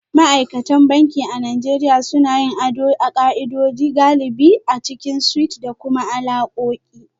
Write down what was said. Ma'aikatan banki a Najeriya suna yin ado a ka'ida, galibi a cikin suites da kuma alakoki